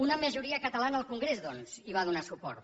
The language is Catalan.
una majoria catalana al congrés doncs hi va donar suport